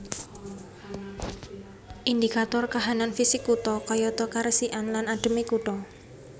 Indikator kahanan fisik kutha kayata karesikan lan adheme kutha